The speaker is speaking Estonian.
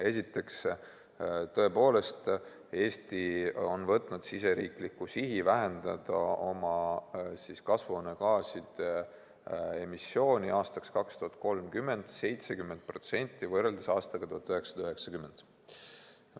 Esiteks, tõepoolest, Eesti on võtnud sihi vähendada oma kasvuhoonegaaside emissiooni 2030. aastaks 70% võrreldes aastaga 1990.